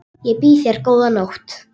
Ég býð þér góða nótt.